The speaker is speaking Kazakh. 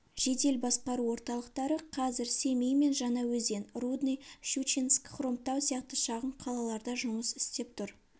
жедел басқару орталықтары қазір семей мен жаңаөзен рудный щучинск хромтау сияқты шағын қалаларда жұмыс істеп тұр